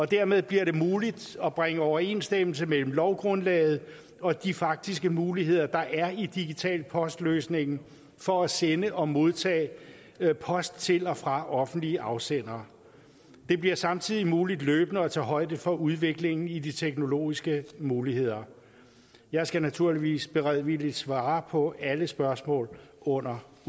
dermed bliver det muligt at bringe overensstemmelse mellem lovgrundlaget og de faktiske muligheder der er i digital post løsningen for at sende og modtage post til og fra offentlige afsendere det bliver samtidig muligt løbende at tage højde for udviklingen i de teknologiske muligheder jeg skal naturligvis beredvilligt svare på alle spørgsmål under